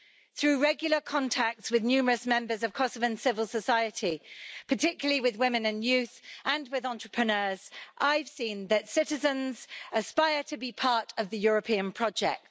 Through regular contacts with numerous members of Kosovan civil society, particularly with women and youth and with entrepreneurs, I've seen that citizens aspire to be part of the European project.